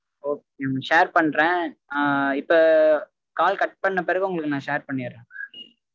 okay mam share பன்றேன் ஆஹ் இப்ப call cut பண்ண பிறகு உங்களுக்கு நா share பண்ணிறேன்